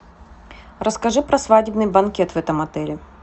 расскажи про свадебный банкет в этом отеле